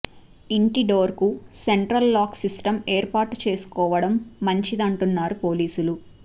ఇంటి డోర్ కు central locking system ఏర్పాటు చేసుకోవడం మంచిదంటున్నారు పోలీసులు